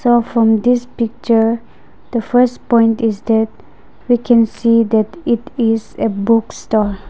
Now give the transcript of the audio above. the from this picture the first point is that we can see that it is a book stall.